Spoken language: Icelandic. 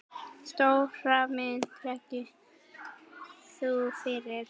Stóra myndin liggi nú fyrir.